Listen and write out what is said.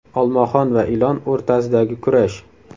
Olmaxon va ilon o‘rtasidagi kurash.